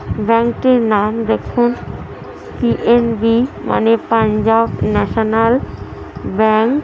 ব্যাংকের -এর নাম দেখুন পিএনবি মানে পাঞ্জাব ন্যাশনাল ব্যাঙ্ক।